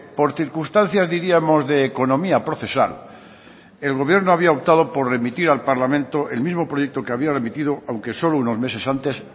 por circunstancias diríamos de economía procesal el gobierno había optado por remitir al parlamento el mismo proyecto que había remitido aunque solo unos meses antes